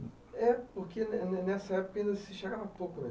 É, porque nessa época ainda se chegava pouco na...